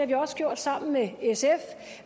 vi også gjort sammen med sf